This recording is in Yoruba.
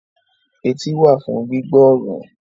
Etí wà fún gbígbọ́ ọ̀rọ̀